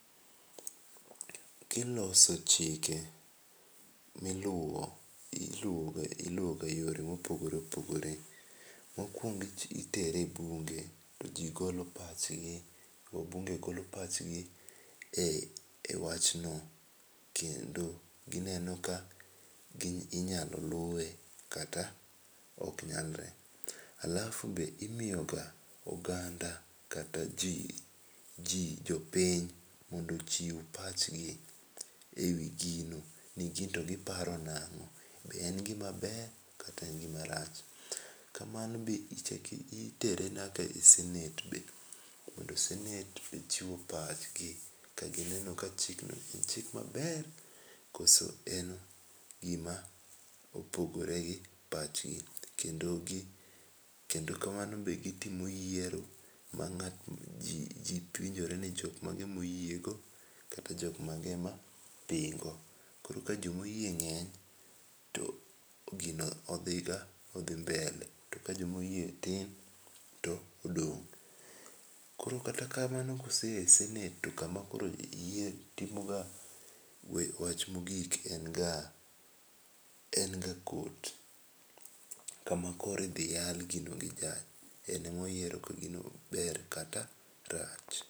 Ki iloso chike mi iluwo iluwo ga e yore ma opogore opogore mo okuongo itere e bunge to ji golo pach gi wabunge go lo pach gi e wachno kendo gi neno ka inyalo luwe kata ok nyalre .Alafu be imiyo ga oganda kata jopiny mondo ochiw pach gi ni gin to gi paro nango be en gi ma ber kata en gi marach, kamano be itere nyaka e senate be mondo senate be ochiw pach gi ka gi neno ni chik no en chik ma ber koso en gi ma opogore gi pach gi kendo ka mano be gi timo yiero ma ji penjore ni jo mage ma oyiego kata jo mage ma dhi go koro ka jo ma oyie ng'eny to gino odhi ga odhi mbele. To ka jo ma oyie tin to odong. Koro kata kamano ka ose ya e senate to kama koro timo ga wach ma ogik en ga en ga court kama koro idhi yal gino gi judge en ema koro oyiero ka gino ber kata rach.